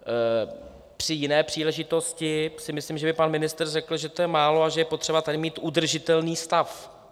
Při jiné příležitosti si myslím, že by pan ministr řekl, že to je málo a že je potřeba tady mít udržitelný stav.